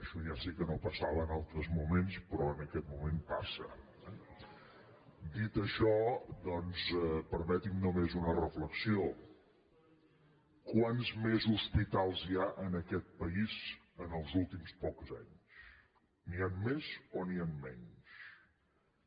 això ja sé que no passava en altres moments però en aquest moment passa eh dit això doncs permeti’m només una reflexió quants més hospitals hi ha en aquest país en els últims pocs anys n’hi han més o n’hi han menys